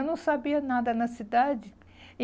Eu não sabia nada na cidade. E